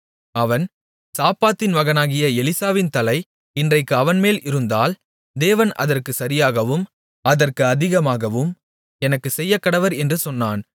அவன் சாப்பாத்தின் மகனாகிய எலிசாவின் தலை இன்றைக்கு அவன்மேல் இருந்தால் தேவன் அதற்குச் சரியாகவும் அதற்கு அதிகமாகவும் எனக்குச் செய்யக்கடவர் என்று சொன்னான்